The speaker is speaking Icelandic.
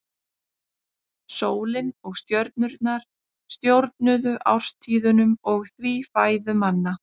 Sólin og stjörnurnar stjórnuðu árstíðunum og því fæðu manna.